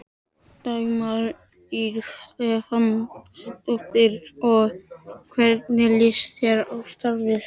Dagmar Ýr Stefánsdóttir: Og hvernig líst þér á starfið?